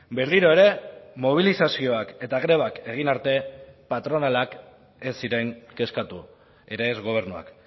berriro ere mobilizazioak eta grebak egin arte patronalak ez ziren kezkatu ere ez gobernuak